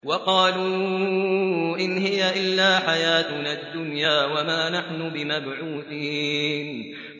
وَقَالُوا إِنْ هِيَ إِلَّا حَيَاتُنَا الدُّنْيَا وَمَا نَحْنُ بِمَبْعُوثِينَ